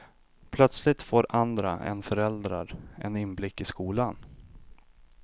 Plötsligt får andra än föräldrar en inblick i skolan.